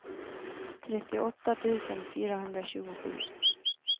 trettioåtta tusen fyrahundratjugosju